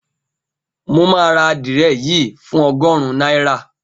Mo máa ra adìẹ yìí fún ogórun náírà